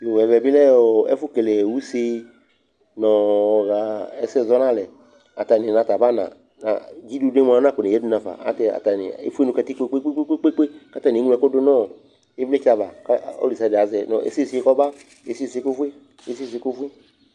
Yoo ɛvɛ bɩ lɛ ɔ ɛfʋkele use nʋ ɔɣa ɛsɛ zɔ nʋ alɛ Atanɩ nʋ ata bana, dzidudu yɛ mʋa, ɔnakɔneyǝdu nafa Ayɛlʋtɛ atanɩ efue nʋ katikpo kpe-kpe-kpe kʋ atanɩ eŋlo ɛkʋ dʋ nʋ ɔ ɩvlɩtsɛ ava kʋ ɔlʋ desɩade azɛ nʋ ɛsɛ sisi yɛ kɔba, ɛsɛ sisi kɔfue, ɛsɛ sisi yɛ kɔfue